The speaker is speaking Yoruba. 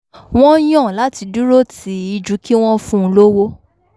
wọ́n yàn láti dúró tì í ju kí wọ́n fun lówó